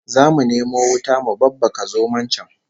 Zamu nemo wuta mu babbaka zomon can